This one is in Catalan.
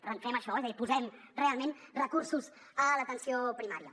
per tant fem això és a dir posem realment recursos a l’atenció primària